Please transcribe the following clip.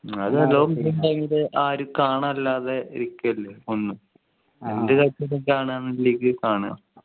ആര്ക്കാണ് അല്ലാതെ ഇരിക്കല്ലേ ഒന്നും എന്ത് കളിച്ചു ആണ് ന്ന് ഇല്ലെങ്ങി കാണ്